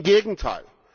Im Gegenteil!